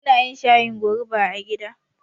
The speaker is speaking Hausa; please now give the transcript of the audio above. Munayin shayin goruba a gida